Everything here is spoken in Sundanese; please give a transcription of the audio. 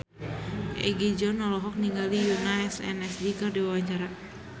Egi John olohok ningali Yoona SNSD keur diwawancara